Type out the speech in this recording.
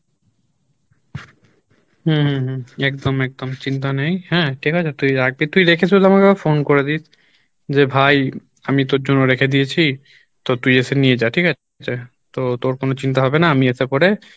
হম হম হম একদম একদম চিন্তা নাই হ্যাঁ ঠিক আছে? তুই রাখবি তুই রেখে শুধু আমাকে একবার phone করে দিস যে ভাই আমি তোর জন্য রেখে দিয়েছি তো তুই এসে নিয়ে যা ঠিক আছে? তো তোর কোনো চিন্তা হবে না আমি এসে করে